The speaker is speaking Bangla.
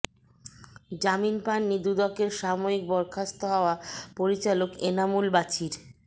জামিন পাননি দুদকের সাময়িক বরখাস্ত হওয়া পরিচালক এনামুল বাছির